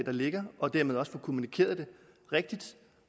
der ligger og dermed også får kommunikeret det rigtigt